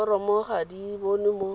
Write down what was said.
diforomo ga di bonwe mo